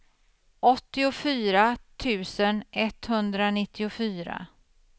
åttiofyra tusen etthundranittiofyra